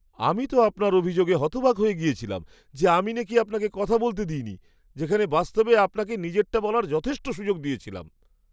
আমি তো আপনার অভিযোগে হতবাক হয়ে গেছিলাম যে, আমি নাকি আপনাকে কথা বলতে দিইনি, যেখানে বাস্তবে আপনাকে নিজেরটা বলার যথেষ্ট সুযোগ দিয়েছিলাম।